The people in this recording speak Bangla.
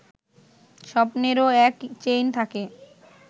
স্বপ্নেরও এক চেইন থাকে